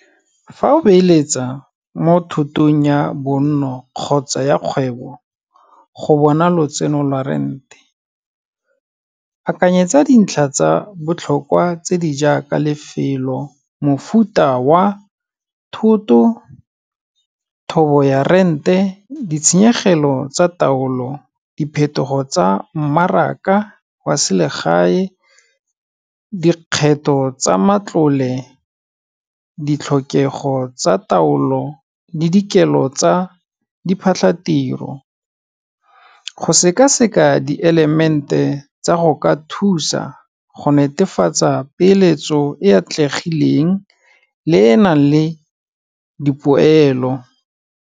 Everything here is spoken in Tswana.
Fa o beeletsa mo thotong ya bonno, kgotsa ya kgwebo, go bona lotseno lwa rent-e, akanyetsa dintlha tse di botlhokwa tse di jaaka lefelo, mofuta wa thoto, thobo ya rent-e, ditshenyegelo tsa taolo, diphetogo tsa mmaraka wa selegae, dikgetho tsa matlole ditlhokego tsa taolo le dikelo tsa diphatlatiro. Go sekaseka di-element-e tsa go ka thusa go netefatsa peeletso e e atlegileng le e e nang le dipoelo.